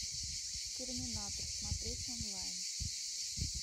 терминатор смотреть онлайн